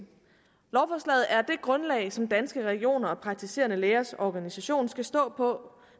grundlag som danske regioner og praktiserende lægers organisation skal stå på